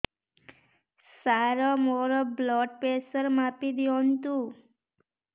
ସାର ମୋର blood pressure ମାପି ଦିଅନ୍ତୁ